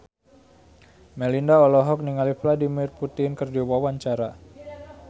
Melinda olohok ningali Vladimir Putin keur diwawancara